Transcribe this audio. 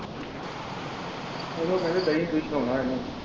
ਉਹਨੂੰ ਕਹਿੰਦੇ ਦਹੀਂ ਦ੍ਰਿਸ਼ ਹੋਣਾ ਇਹਨੂੰ।